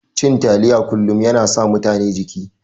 Cin taliya kullun yana sa mutane jiki.